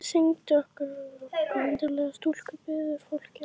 Syngdu fyrir okkur undarlega stúlka, biður fólkið.